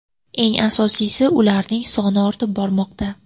Eng asosiysi, ularning soni ortib bormoqda.